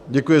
Děkuji.